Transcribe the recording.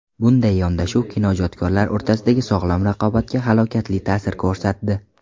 Bunday yondashuv kinoijodkorlar o‘rtasidagi sog‘lom raqobatga halokatli ta’sir ko‘rsatdi.